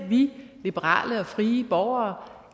vi liberale og frie borgere